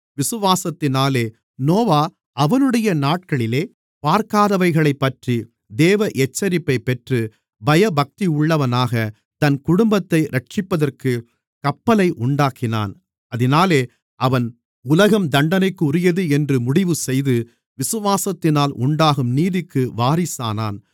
விசுவாசத்தினாலே நோவா அவனுடைய நாட்களிலே பார்க்காதவைகளைப்பற்றி தேவ எச்சரிப்பைப் பெற்று பயபக்தியுள்ளவனாக தன் குடும்பத்தை இரட்சிப்பதற்குக் கப்பலை உண்டாக்கினான் அதினாலே அவன் உலகம் தண்டனைக்குரியது என்று முடிவுசெய்து விசுவாசத்தினால் உண்டாகும் நீதிக்கு வாரிசானான்